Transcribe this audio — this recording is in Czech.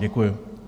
Děkuju.